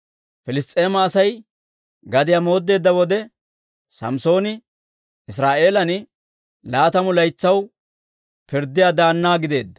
Piliss's'eema Asay gadiyaa mooddeedda wode, Samssooni Israa'eelan laatamu laytsaw pirddiyaa daanna gideedda.